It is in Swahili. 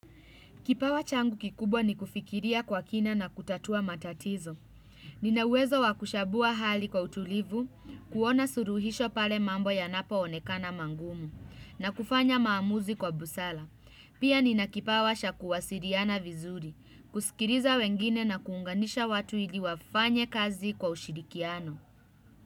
Kipawa changu kikubwa ni kufikiria kwa kina na kutatua matatizo. Ninauwezo wakuchabua hali kwa utulivu, kuona suruhisho pale mambo yanapoonekana mangumu, na kufanya maamuzi kwa busara. Pia nina kipawa cha kuwasiliana vizuri, kusikiliza wengine na kuunganisha watu ili wafanye kazi kwa ushirikiano.